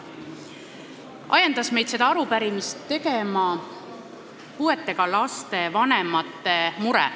Meid ajendas seda arupärimist tegema puuetega laste vanemate mure.